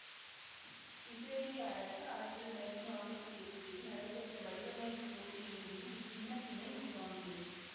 இசுரேலிய அரசு ஆயிரத்தி தொள்ளாயிரத்தி நாப்பத்தி எட்டில் நடைபெற்ற வடிவமைப்பு போட்டியிலிருந்து இச்சின்னத்தினை உள்வாங்கியது